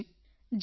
ਜੀ ਜ਼ਰੂਰ